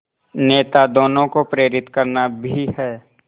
नेता दोनों को प्रेरित करना भी है